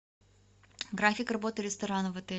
график работы ресторана в отеле